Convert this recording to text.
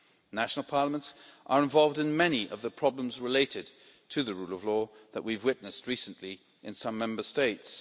The national parliaments are involved in many of the problems related to the rule of law that we have witnessed recently in some Member States.